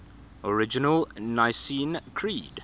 original nicene creed